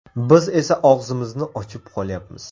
Biz esa og‘zimizni ochib qolyapmiz.